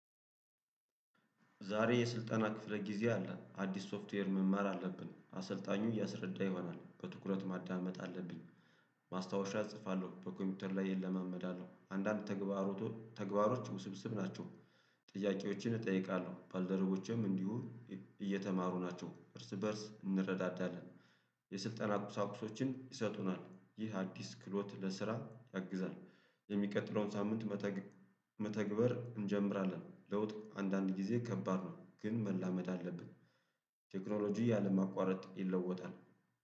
ዛሬ የስልጠና ክፍለ ጊዜ አለ አዲስ ሶፍትዌር መማር አለብን አሰልጣኙ እያስረዳ ይሆናል በትኩረት ማዳመጥ አለብኝ። ማስታወሻ እጽፋለሁ በኮምፒውተር ላይ እለማመዳለሁ አንዳንድ ተግባሮች ውስብስብ ናቸው። ጥያቄዎችን እጠይቃለሁ ባልደረቦቼም እንዲሁ እየተማሩ ናቸው እርስ በእርስ እንረዳዳለን። የስልጠና ቁሳቁሶችን ይሰጡናል ይህ አዲስ ክሎት ለስራ ያግዛል። የሚቀጥለውን ሳምንት መተግበር እንጀምራለን ለውጥ አንዳንድ ጊዜ ከባድ ነው። ግን መላመድ አለብን። ቴክኖሎጂ ያለማቋረጥ ይለወጣል